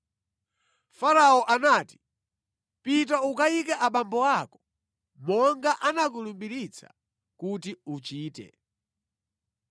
Farao anati, “Pita ukayike abambo ako monga anakulumbiritsa kuti uchite.”